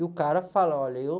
E o cara fala, olha, eu...